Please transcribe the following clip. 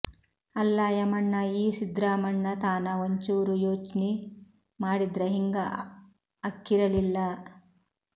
ಅಲ್ಲಾ ಯಮಣ್ಣ ಈ ಸಿದ್ರಾಮಣ್ಣ ತಾನ ಒಂಚೂರು ಯೋಚ್ನಿ ಮಾಡಿದ್ರ ಹಿಂಗ ಆಕ್ಕಿರಲಿಲ್ಲ